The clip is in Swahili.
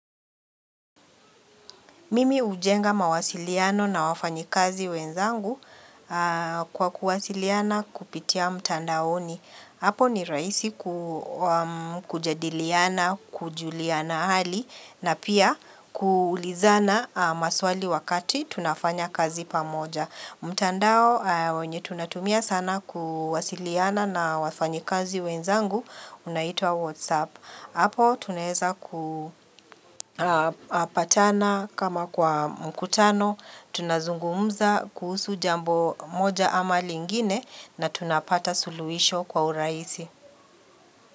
Mimi hujenga mawasiliano na wafanyikazi wenzangu kwa kuwasiliana kupitia mtandaoni. Hapo ni rahisi kujadiliana, kujuliana hali na pia kuulizana maswali wakati tunafanya kazi pamoja. Mtandao wenye tunatumia sana kuwasiliana na wafanyikazi wenzangu unaitwa WhatsApp. Hapo tunaweza kupatana kama kwa mkutano, tunazungumza kuhusu jambo moja ama lingine na tunapata suluhisho kwa urahisi.